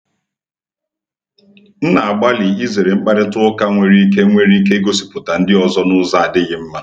M na-agbalị izere mkparịta ụka nwere ike nwere ike igosipụta ndị ọzọ n’ụzọ adịghị mma.